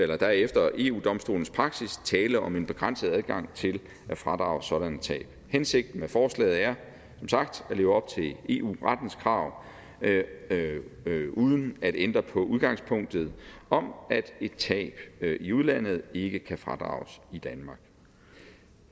der er efter eu domstolens praksis tale om en begrænset adgang til at fradrage sådanne tab hensigten med forslaget er som sagt at leve op til eu rettens krav uden at ændre på udgangspunktet om at et tab i udlandet ikke kan fradrages i danmark